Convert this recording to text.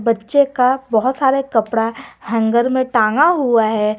बच्चे का बहुत सारा कपड़ा हैंगर में टांगा हुआ है।